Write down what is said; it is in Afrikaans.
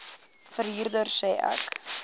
verhuurder sê ek